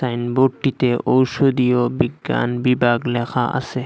সাইনবোর্ডটিতে ঔষধীয় বিজ্ঞান বিভাগ লেখা আসে।